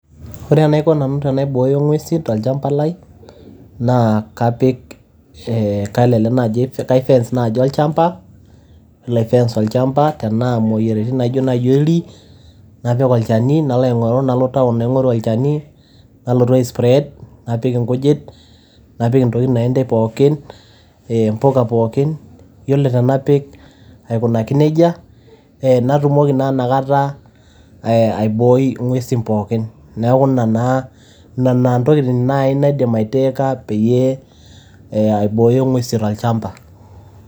Ore enaiko nanu pee aibooyo ing'uesin tolchamba lai naa kapik, kaifence naaji olchamba, tenaa imoyiaritin aijo oldi napik olchani, nalo town naing; oru olchani nalotu aispread, napik ing'ujit napik intokiting' pookin, impika pookin. Iyiolo tenapik aikunaki neija, natumoki naa inakata aibooi ing'uesin pookin. Neaku inena naa intokitin naidim aitakeka peyie aibooyo ing'uesin tolchamba.